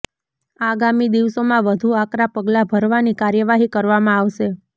આગામી દિવસોમાં વધુ આકરા પગલાં ભરવાની કાર્યવાહી કરવામાં આવશે